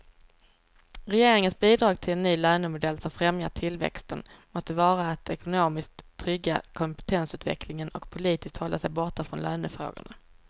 Regeringens bidrag till en ny lönemodell som främjar tillväxten måste vara att ekonomiskt trygga kompetensutvecklingen och politiskt hålla sig borta från lönefrågorna.